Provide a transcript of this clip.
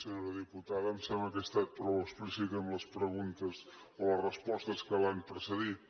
senyora diputada em sembla que he estat prou explícit en les preguntes o les respostes que l’han precedit